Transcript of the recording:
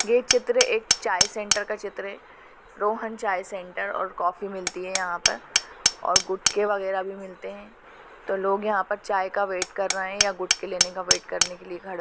ये चित्र एक चाय सेंटर का चित्र है रोहन चाय सेंटर और कॉफी मिलती है यहा पर और गुटके वगेरा मिलते ही यहा पर तो लोग यहा पर चाय का वेट कर रहै है या गुटके लेने का वेट करने के लिए खडे --